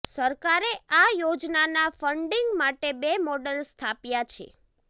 સરકારે આ યોજનાના ફંડિંગ માટે બે મોડલ સ્થાપ્યાં છે